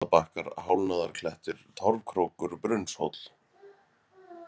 Kraunastaðabakkar, Hálfnaðarklettur, Torfkrókur, Brunnshóll